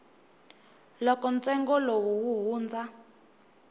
loko ntsengo lowu wu hundza